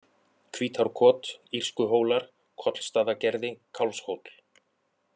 Hvítárkot, Írskuhólar, Kollstaðagerði, Kálfshóll